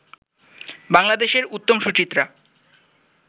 বাংলাদেশের উত্তম-সুচিত্রা